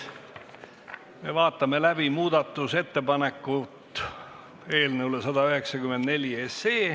Me vaatame läbi muudatusettepaneku eelnõu 194 kohta.